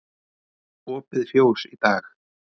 Opið fjós í dag